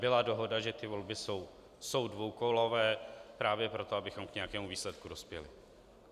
Byla dohoda, že ty volby jsou dvoukolové právě proto, abychom k nějakému výsledku dospěli.